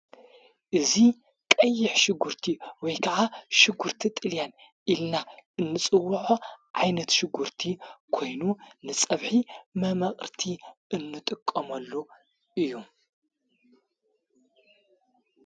እዙ ቐይሕ ሽጕርቲ ወይ ከዓ ሽጕርቲ ጥልያን ኢልና እንጽውዖ ዓይነት ሽጕርቲ ኮይኑ ንጸብሒ መማቕርቲ እንጥቀመሉ እዩ።